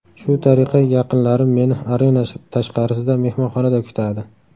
Shu tariqa yaqinlarim meni arena tashqarisida, mehmonxonada kutadi.